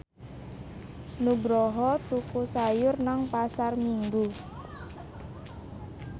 Nugroho tuku sayur nang Pasar Minggu